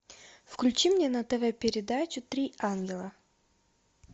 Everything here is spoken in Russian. включи мне на тв передачу три ангела